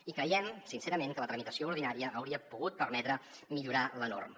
i creiem sincerament que la tramitació ordinària hauria pogut permetre millorar la norma